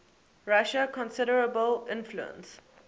russia considerable influence